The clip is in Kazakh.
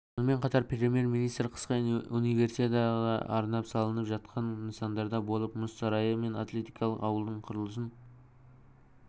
сонымен қатар премьер-министр қысқы универсиадаға арнап салынып жатқан нысандарда болып мұз сарайы мен атлетикалық ауылдың құрылысын